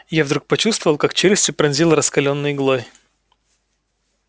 я вдруг почувствовал как челюсти пронзило раскалённой иглой